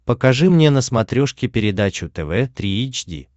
покажи мне на смотрешке передачу тв три эйч ди